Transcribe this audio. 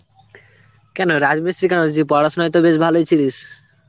কেন রাজমিস্ত্রি কেন? যে পড়াশোনায় তো বেশ ভালই ছিলিস.